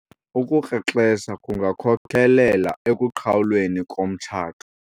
ukukrexeza kungakhokelela ekuqhawulweni komtshato